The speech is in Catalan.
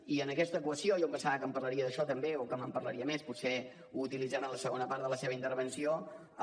i en aquesta equació jo em pensava que em parlaria d’això també o que me’n parlaria més potser ho utilitzarà en la segona part de la seva intervenció